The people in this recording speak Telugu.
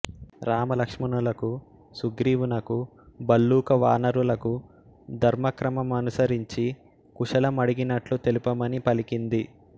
రామలక్ష్మణులకు సుగ్రీవునకు భల్లూక వానరులకు ధర్మక్రమ మనుసరించి కుశలం అడిగినట్లు తెలుపమని పలికింది